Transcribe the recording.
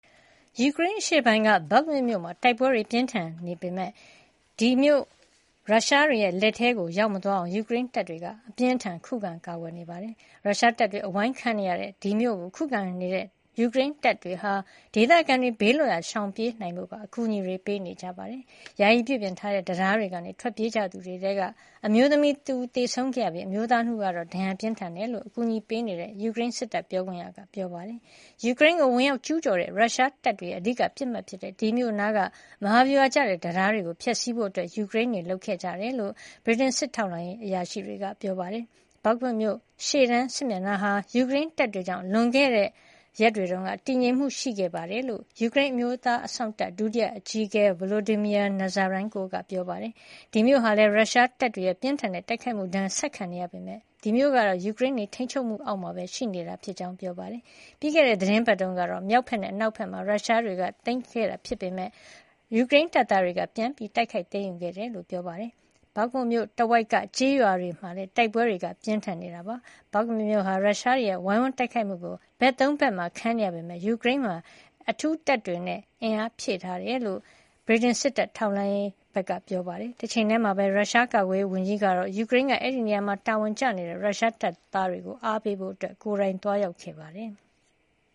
ယူကရိန်းအရှေ့ပိုင်းက Bakhmut မြို့မှာ တိုက်ပွဲတွေပြင်းထန်နေပေမယ့် ဒီမြို့ကို ရုရှားတွေလက်ထဲ ရောက်မသွားအောင် ယူကရိန်းတပ်သားတွေက အပြင်းအထန်ခုခံနေပါတယ်။ ရုရှားတပ်တွေအဝိုင်းခံနေရတဲ့ဒီမြို့ကို ခုခံကာကွယ်နေတဲ့ ယူကရိန်းတပ်တွေဟာ ဒေသခံတွေ ဘေးလွတ်ရာရှောင်ပြေးနိုင်ဖို့ပါ အကူညီတွေပေးနေကြပါတယ်။ ယာယီပြုပြင်ထားတဲ့တံတားကနေ ထွက်ပြေးကြသူတွေထဲက အမျိုးသမီးတဦးသေဆုံးခဲ့ပြီး အမျိုးသား ၂ ဦးကတော့ ဒဏ်ရာပြင်းထန်တယ်လို့ အကူညီပေးနေတဲ့ ယူကရိန်းစစ်တပ် ပြောခွင့်ရက ပြောပါတယ်။ ယူကရိန်းကိုဝင်ရောက်ကျူးကျော်တဲ့ ရုရှားတပ်တွေရဲ့အဓိကပစ်မှတ်ဖြစ်တဲ့ ဒီမြို့နားက မဟာဗျူဟာကျတဲ့တံတားတွေကိုဖျက်ဆီးဖို့ ယူကရိန်းတွေလုပ်ဆောင်ခဲ့ကြတယ်လို့ ဗြိတိန်စစ်တပ်ထောက်လှမ်းရေးအရာရှိတွေက ပြောပါတယ်။ Bakhmut ရှေ့တန်းစစ်မျက်နှာဟာ ယူကရိန်းတပ်တွေကြောင့် လွန်ခဲ့တဲ့ရက်တွေတုန်းက တည်ငြိမ်မှုရှိခဲ့တယ် လို့ ယူကရိန်း အမျိုးသားအစောင့်တပ် ဒုတိယအကြီးအကဲ Volodymyr Nazarenko က ပြောပါတယ်။ ရုရှားတပ်တွေရဲ့ ပြင်းထန်တဲ့တိုက်ခိုက်မှုဒဏ်ကို ဆက်ခံနေရပေမယ့် ဒီမြို့ကတော့ ယူကရိန်းတွေရဲ့ထိန်းချုပ်မှုအောက်မှာပဲ ရှိနေတာဖြစ်ကြောင်း ပြောပါတယ်။ ပြီးခဲ့တဲ့ သီတင်းပတ်တုန်းက မြို့မြောက်ဘက်နဲ့ အနောက်မြောက်ဘက်မှာ ရုရှားတွေသိမ်းထားခဲ့ပေမယ့် ယူကရိန်းတပ်သားတွေက ပြန်လည် တိုက်ခိုက်သိမ်းယူခဲ့တယ်လို့လည်း ပြောပါတယ်။ Bakhmut မြို့တဝိုက်က Vasiukivka ၊ Dubovo-Vasylivka ၊ Ivanivske နဲ့ Bohdanivka စတဲ့ကျေးရွာတွေမှာလည်း တိုက်ပွဲတွေ ပြင်းထန်နေတာပါ။ Bakhmut မြို့ဟာ ရုရှားတွေရဲ့ ဝိုင်းဝန်းတိုက်ခိုက်မှုကို ဘက် ၃ ဘက်မှာခံနေရပေမယ့် ယူကရိန်းက အဲဒီမှာ အထူးတပ်တွေနဲ့ အားဖြည့်ထားတယ်လို့ ဗြိတိန်စစ်တပ်ထောက်လှမ်းရေးက ပြောပါတယ်။ တချိန်တည်းမှာပဲ ရုရှားကာကွယ်ရေးဝန်ကြီးဟာ ယူကရိန်းက အဲဒီနေရာမှာတာဝန်ကျနေတဲ့ ရုရှားတပ်သားတွေကိုအားပေးဖို့ ကိုယ်တိုင်သွားရောက်ခဲ့ပါတယ်။